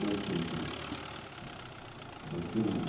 Nós plantamos. Batemos